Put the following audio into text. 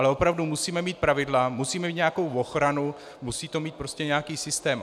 Ale opravdu musíme mít pravidla, musíme mít nějakou ochranu, musí to mít prostě nějaký systém.